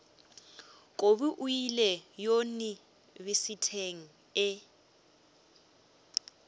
kobi o ile yunibesithing e